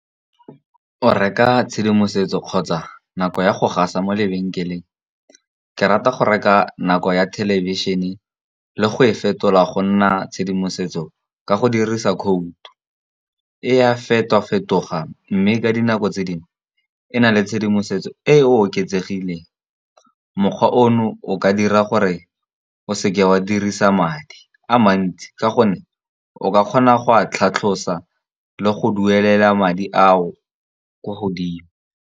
O reka tshedimosetso kgotsa nako ya go gaisa mo lebenkeleng. Ke rata go reka nako ya thelebišene le go e fetola go nna tshedimosetso ka go dirisa code. E a feto-fetoga mme ka dinako tse dingwe e na le tshedimosetso e e oketsegileng. Mokgwa ono o ka dira gore o seke wa dirisa madi a mantsi, ka gonne o ka kgona go a tlhatlhosa le go duelela madi a kwa godimo.